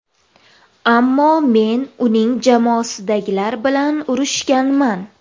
Ammo men uning jamoasidagilar bilan uchrashganman.